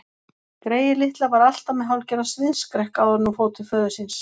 Greyið litla var alltaf með hálfgerðan sviðsskrekk áður en hún fór til föður síns.